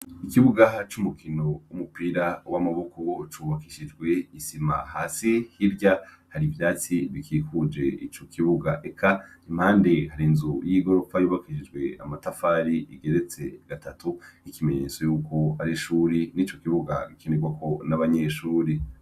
Ikibugaha c' umukino w'umupira w'amaboko wocubakishijwe isima hasi h'irya hari ivyatsi bikikuje ico kibuga eka impande hari nzu y'igoropfa yubakishijwe amatafari igeretse gatatu k'ikimenyetso yuko ari ishuri n'i co kibuga gikenerwako n'abanyeshuri.